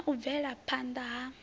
na u bvela phanda ha